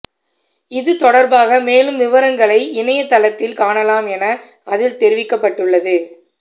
இது தொடா்பாக மேலும் விவரங்களை இணையதளத்தில் காணலாம் என அதில் தெரிவிக்கப்பட்டுள்ளது